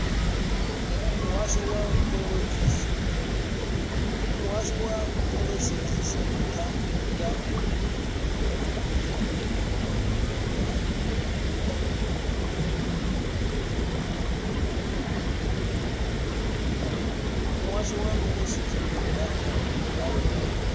muhasho wa mveledzisophan ḓa ya